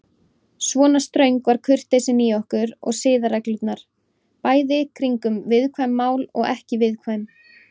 Svona ströng var kurteisin í okkur og siðareglurnar, bæði kringum viðkvæm mál og ekki viðkvæm.